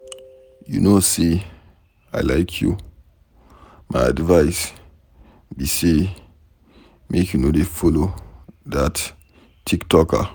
You no say I like you, my advice be say make you no dey follower dat tiktoker.